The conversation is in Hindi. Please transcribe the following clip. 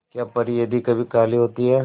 क्या परी यदि कभी काली होती है